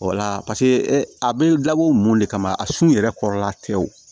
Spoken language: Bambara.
wala paseke ɛ a be dabɔ mun de kama a sun yɛrɛ kɔrɔla te wo